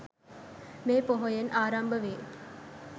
මේ පොහොයෙන් ආරම්භ වේ.